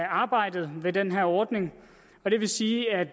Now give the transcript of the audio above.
arbejde med den her ordning og det vil sige at